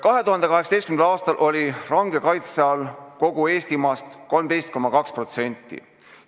2018. aastal oli range kaitse all kogu Eestimaast 13,2%.